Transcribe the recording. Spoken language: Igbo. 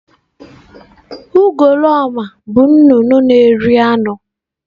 Ugoloọma bụ nnụnụ na-eri anụ.